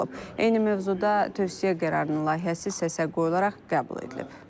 Eyni mövzuda tövsiyə qərarının layihəsi səsə qoyularaq qəbul edilib.